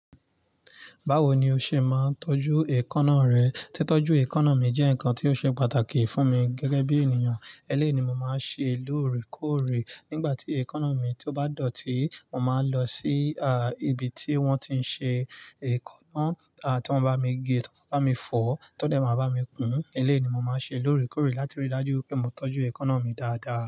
Báwo ni o ṣe máa ń tọ́jú èékánná rẹ? Tí tọ́jú èékánná mi jẹ́ nǹkan tó ṣe pàtàkì fún mi gẹ́gẹ́ bí ènìyàn. Eléyìí ni màá ń ṣe lóòrèkóòrè nígbà tí èékánná mi tó bá dọ̀tí. Mo máa ń lọ sí, à, ibi tí wọ́n ti ń ṣe èékánná. À, tí wọ́n bá mi gé, tí wọ́n bá mi fọ̀, tọ́dẹ̀ máa bá mi kún. Eléyìí ni mo máa ń ṣe lóòrèkóòrè láti rí i lájú pé mo tọ́jú èékánná mi dáadáa.